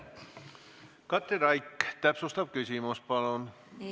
Katri Raik, täpsustav küsimus palun!